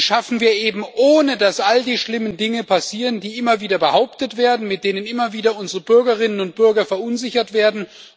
schaffen wir eben, ohne dass all die schlimmen Dinge passieren, die immer wieder behauptet werden, und mit denen immer wieder unsere Bürgerinnen und Bürger verunsichert werden.